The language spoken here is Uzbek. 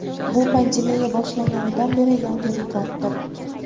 Bu pandemiya boshlanganidan beri yangi rekorddir.